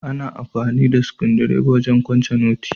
Ana amfani da sukudireba don wajen kwance noti.